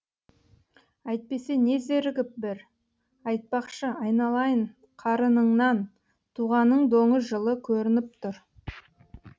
әйтпесе не зерігіп бір айтпақшы айналайын қарыныңнан туғаның доңыз жылы көрініп тұр